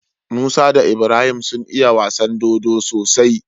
Musa da Ibrahim sun iya wasan dodo sosai